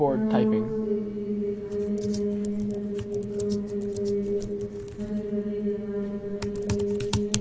यह बहुत से खेत दिखाई दे रहे है सभी खेतो में हरी भरी आ हरी भरी जगह दिखाई दे रही है।